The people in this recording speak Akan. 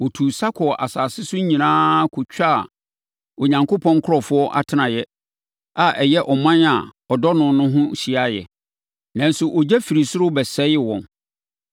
Wɔtuu sa kɔɔ asase so nyinaa kɔtwaa Onyankopɔn nkurɔfoɔ atenaeɛ, a ɛyɛ ɔman a ɔdɔ no no ho hyiaeɛ. Nanso, ogya firi soro bɛsɛee wɔn.